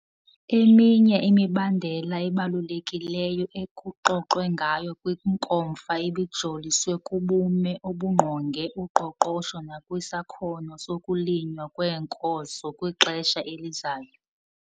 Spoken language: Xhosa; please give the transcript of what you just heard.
Eminye imibandela ebalulekileyo ekuxoxwe ngayo kwiNkomfa ibijoliswe kubume obungqonge uqoqosho nakwisakhono sokulinywa kweenkozo kwixesha elizayo.